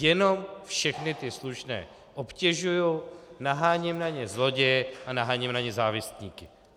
Jenom všechny ty slušné obtěžuji, naháním na ně zloděje a naháním na ně závistníky.